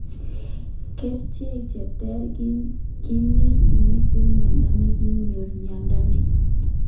Kerchek che tare ki ne ipiti miondo ni ko inyoi mindo ni.